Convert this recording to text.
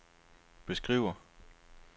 beskriver